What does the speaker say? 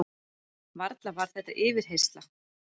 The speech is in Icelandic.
Varla var þetta yfirheyrsla?